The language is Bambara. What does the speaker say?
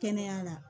Kɛnɛya la